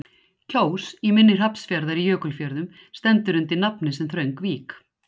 Kjós í mynni Hrafnsfjarðar í Jökulfjörðum stendur undir nafni sem þröng vík.